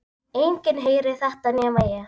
Enginn heyrir þetta nema ég.